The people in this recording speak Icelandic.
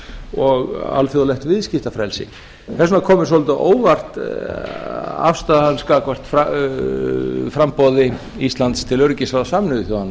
og alþjóðlegt viðskiptafrelsi þess vegna kom mér svolítið á óvart afstaða hans gagnvart framboði íslands til öryggisráðs sameinuðu þjóðanna